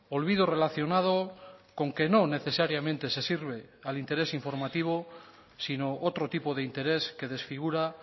olvido relacionado con que no necesariamente se sirve al interés informativo sino otro tipo de interés que desfigura